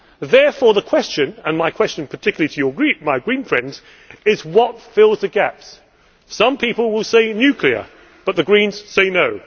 Therefore the question and my question particularly to your group, my green friends is what fills in the gaps? Some people will say nuclear, but the Greens say no.